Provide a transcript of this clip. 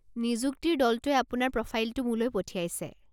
নিযুক্তিৰ দলটোৱে আপোনাৰ প্ৰফাইলটো মোলৈ পঠিয়াইছে।